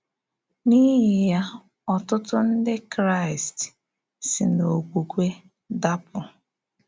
N’íhì yá, ọ̀tụtụ̀ Ndị Kraịst ‘sì n’òkwùkwè dàpụ̀.’